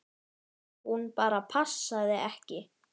Hún bara passaði ekki.